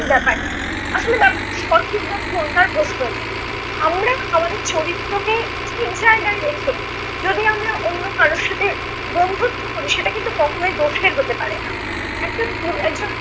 সঠিক ব্যাপার নয়। আসলে ব্যাপারটা সঠিক বা ভুল তার প্রশ্ন নয়। আমরা আমাদের চরিত্রকে ঠিক জায়গায় রেখে, যদি আমরা অন্য কারোর সাথে বন্ধুত্ব করি, সেটা কিন্তু কখনই দোষের হতে পারে না। একটা পুরুষ একজন